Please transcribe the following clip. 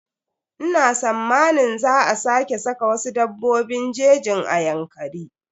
Ina sammanin za a sake saka wasu dabbobin jejin a Yankari.